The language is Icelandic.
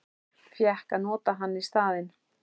Fékk að nota hann í staðinn.